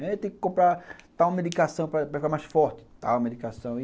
Tem que comprar tal medicação para para ficar mais forte, tal medicação.